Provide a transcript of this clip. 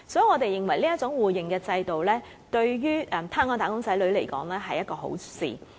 我們認為這種互認制度，對於香港"打工仔女"來說，是一件好事。